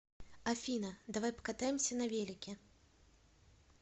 афина давай покатаемся на велике